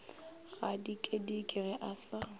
a dikedike ge a sa